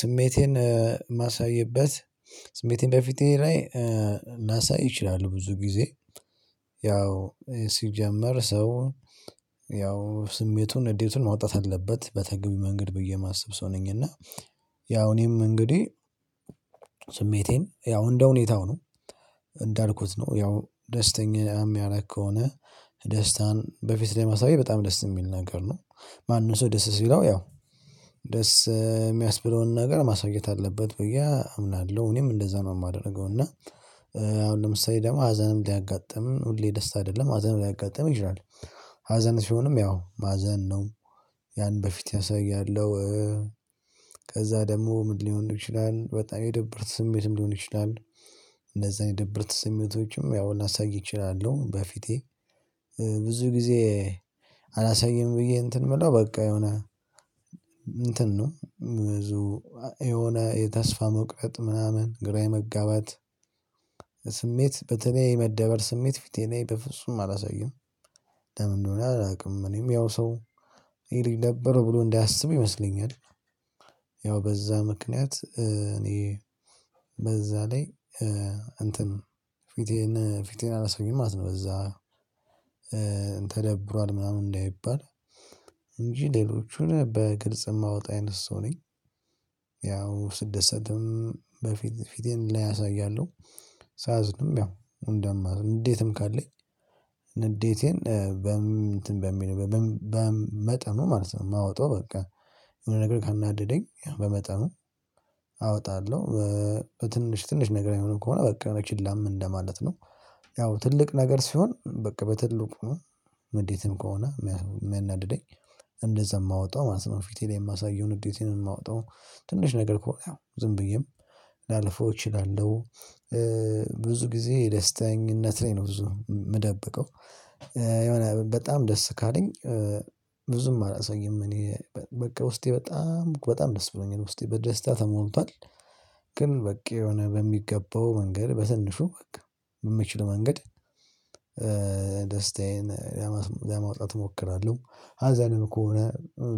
ስሜቴን ማሳይበት ስሜቴን በፊቴ ላይ ላሳይ እችላለው ብዙ ጊዜ ያው ሲጀመር ሰው ያው ስሜቱን ንዴቱን ማውጣት አለበት በተገቢ መንገድ ብዬ የማስብ ሰው ነኝ። እና ያው እኔም እንግዲህ ስሜቴን ያው እንደ ሁኔታው ነው እንዳልኩት ነው ያው ደስተኛ የሚያረግ ከሆነ ደስታን በፊት ላይ ማሳየት በጣም ደስ የሚል ነገር ነው። ማንም ሰው ደስ ሲለው ያው ደስ የሚያስብለውን ነገር ማሳየት አለበት ብዬ አምናለሁ እኔም እንደዛ ነው የማደርገው። እና አሁን ለምሳሌ ደግሞ ሀዘንም ሊያጋጥም ሁሌ ደስ አይደለም ሀዘንም ሊያጋጥም ይችላል። ሀዘን ሲሆንም ያው ማዘን ነው ያን በፊት አሳያለሁ። ከዛ ደግሞ ምን ሊሆን ይችላል በጣም የደብርት ስሜትም ሊሆን ይችላል። እንደዛ የደብርት ስሜቶችም ያው ላሳይ እችላለሁ በፊቴ ብዙ ጊዜ አላሳይም ብዬ እንትን የምለው በቃ የሆነ እንትን ነው። ብዙ የሆነ የተስፋ መቁረጥ ምናምን ግራ የመጋባት ስሜት በተለይ የመደበር ስሜት ፊቴ ላይ በፍጹም አላሳይም። ለምን እንደሆነ አላውቅም እኔም ያው ሰው ይሄ ልጅ ደበረው ብሎ እንዳያስብ ይመስለኛል። ያው በዛ ምክንያት እኔ በዛ ላይ እንትን ፊቴን ፊቴን አላሳይም ማለት ነው። በዛ ተደብሯል ምናምን እንዳይባል እንጂ ሌሎቹን በግልጽ የማወጣ አይነት ሰው ነኝ። ያው ስደሰትም በፊት ፊቴን ላይ አሳያለሁ። ሳዝንም ያው ንዴትም ካለኝ ንዴቴን በምን በምን በመጠኑ ማለት ነው የማወጣው በቃ የሆነ ነገር ካናደደኝ በመጠኑ አወጣለሁ በትንሽ ትንሽ ነገር የሚሆነው ከሆነ በቃ በችላም እንደማለት ነው። ያው ትልቅ ነገር ሲሆን በቃ በትልቁ ንዴትም ከሆነ የሚያናድደኝ እንደዛ የማወጣው ማለት ነው ፊቴ ላይ የማሳየው ንዴትም የማወጣው ትንሽ ነገር ከሆነ ያው ዝም ብዬም ላለፈው እችላለሁ። ብዙ ጊዜ ደስተኝነት ላይ ነው ብዙ የምደብቀው የሆነ በጣም ደስ ካለኝ ብዙም አላሳይም እኔ በቃ ውስጤ በጣም በጣም ደስ ብሎኛል ውስጤ በደስታ ተሞልቷል። ግን በቃ የሆነ በሚገባው መንገድ በትንሹ በቃ በምችለው መንገድ ደስታዬን ለማውጣት እሞክራለሁ። ሀዘንም ከሆነ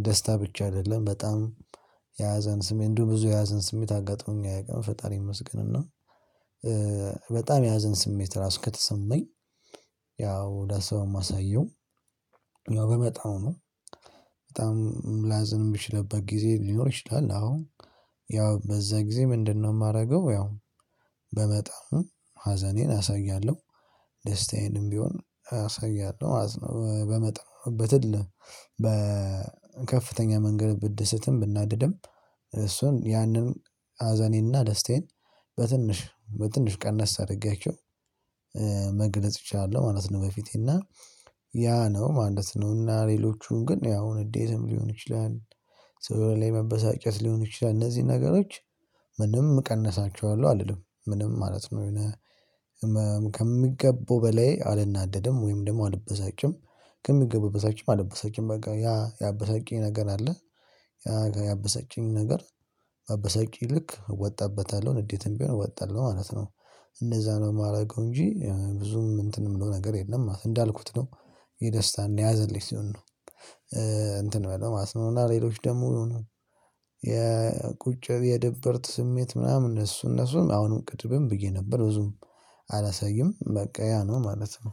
ደስታ ብቻ አይደለም በጣም የሀዘን ስሜት እንደው ብዙ የሀዘን ስሜት አጋጥሞኝ አያቅም ፈጣሪ ይመስገን እና በጣም የሀዘን ስሜት ራሱ ከተሰማኝ። ያው ደስታውን ማሳየው ያው በመጠኑ ነው። በጣም ላዝን የምችልበት ጊዜ ሊኖር ይችላል አዎ ያው በዛ ጊዜ ምንድነው? የማደርገው ያው በመጠኑ ሀዘኔን አሳያለሁ። ደስታዬንም ቢሆን አሳያለሁ ማለት ነው። በመጠኑ በትል በከፍተኛ መንገድ ብደስትም ብናደድም እሱን ያንን ሀዘኔና ደስታዬን በትንሽ በትንሽ ቀነስ አድርጌያቸው መግለጽ እችላለሁ ማለት ነው። በፊቴ እና ያ ነው ማለት ነው። እና ሌሎቹን ግን ያው ንዴትም ሊሆን ይችላል። ሰው ላይ መበሳጨት ሊሆን ይችላል እነዚህን ነገሮች ምንም እቀንሳቸዋለሁ አልልም ምንም ማለት ነው። የሆነ ህመም ከሚገባው በላይ አልናደድም ወይም ደግሞ አልበሳጭም። ከሚገባው በታችም አልበሳጭም በቃ ያ ያበሳጭኝ ነገር አለ። ያ ያበሳጭኝ ነገር ባበሳጨኝ ልክ እወጣበታለሁ ንዴትም ቢሆን እወጣለው ማለት ነው። እነዛ ነው የማደርገው እንጂ ብዙም እንትን የምለው ነገር የለም ማለት ነው። እንዳልኩት ነው የደስታን የሀዘን ልጅ ሲሆን ነው። እንትን ሚሆነው ማለት ነው። እና ሌሎች ደግሞ የቁጭ የድብርት ስሜት ምናምን እነሱ እነሱን አሁንም ቅድምም ብዬ ነበር ብዙም አላሳይም በቃ ያ ነው ማለት ነው።